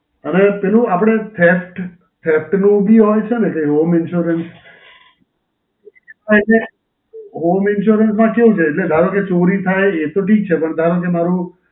અને પેલું આપડે fact, fact નું બી હોય છે ને કઈ Home Insurance? હાં, એટલે Home Insurance માં કેવું છે? એટલે ધારો કે ચોરી થાય એ તો ઠીક છે પણ ધારો કે મારું